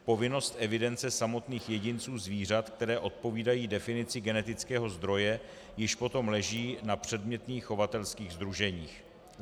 Povinnost evidence samotných jedinců zvířat, která odpovídají definici genetického zdroje, již potom leží na předmětných chovatelských sdruženích.